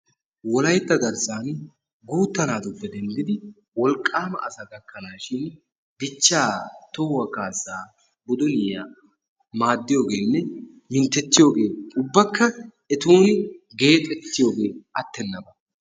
wolayitta garssaani guuttaa naatupe denddidi wolqqaama asaa gakkanaashin dichchaa tohuwaa kaassaa cites maadiyoogeenne minttettiyoogee ubbakka etuuni geexettiyoogee attenaba.